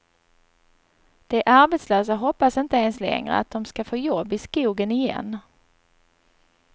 De arbetslösa hoppas inte ens längre att de ska få jobb i skogen igen.